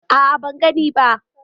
A'a ban gani ba.